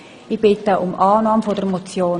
Ich bitte um Annahme der Motion.